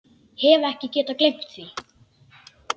Hef ekki getað gleymt því.